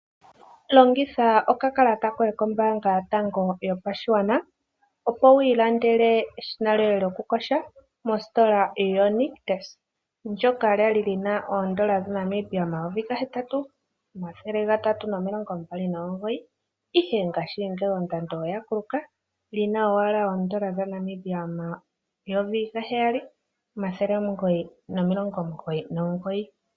Longitha oka kalata koye kombaanga yotango yopashigwana, opo wii landele eshina lyoye lyoku yoga mositola yo nictus ndoka lya li lyina oondola dha Namibia N$ 8239 ihe ngaashingeyi ondando oya kuluka olina owala oondola dha Namibia N$ 7999.